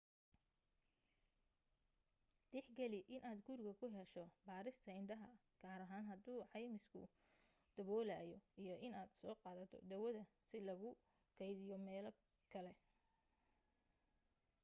tixgali inaad guriga ku hesho baarista indhaha gaar ahaan hadii caymisku daboolayo iyo inaad soo qaadato daawada si loogu kaydiyo meel kale